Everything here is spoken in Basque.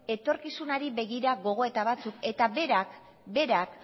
etorkizunari begira gogoeta batzuk eta berak